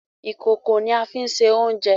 Ìkòkò ní a fín ṣe oúnjẹ